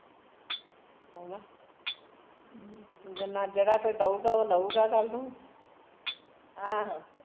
ਹੈਨਾ ਜਿੰਨਾ ਜਿਹੜਾ ਕੋਈ ਦਊਗਾ ਓਹ ਲਉਗਾ ਕੱਲ੍ ਨੂ